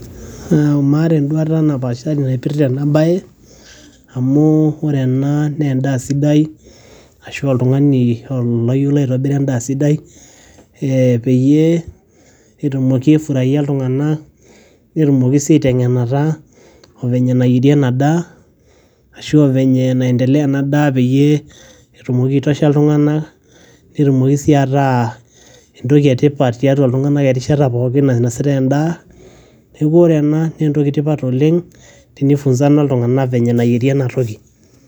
Mm maata enduata napaashari naipirta ena baye amu ore ena naa endaa sidai ashu a oltung'ni oyiolo aitobira endaa sidai ee peyie etumoki aifuraia iltung'anak netumoki sii aiteng'enata o venye nayeri ena daa ashu a venye naiendelea ena daa peyie etumoki aitosha iltung'anak netumoki sii ataa entoki e tipat tiatua iltung'anak erishata pookin nainasitai endaa. Neeku ore ena naa entoki e tipat oleng' tenifunzana iltung'anak venye nayeri ena toki.